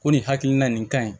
Ko nin hakilina nin kaɲi